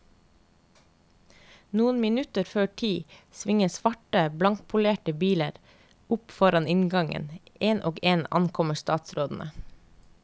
Noen minutter før ti svinger svarte, blankpolerte biler opp foran inngangen, én etter én ankommer statsrådene.